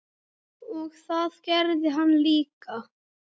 Og það gerði hann líka.